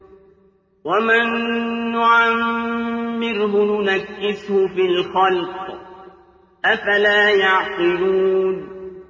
وَمَن نُّعَمِّرْهُ نُنَكِّسْهُ فِي الْخَلْقِ ۖ أَفَلَا يَعْقِلُونَ